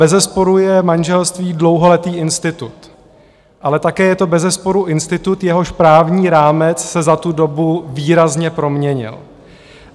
Bezesporu je manželství dlouholetý institut, ale také je to bezesporu institut, jehož právní rámec se za tu dobu výrazně proměnil.